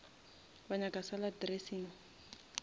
wa nyaka salad dressing